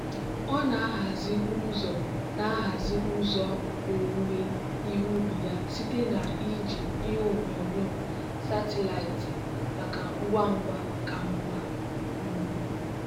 ọ na-ahazi ụzọ na-ahazi ụzọ owuwe ihe ubi ya site na iji ihe onyonyo satịlaịtị maka ngwa ngwa ka mma. um